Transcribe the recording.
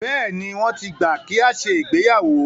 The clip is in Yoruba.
Bẹ́ẹ̀ni, wọ́n ti gbà kí a ṣe ìgbéyàwó.